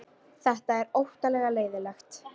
Þetta er óttalega leiðinlegt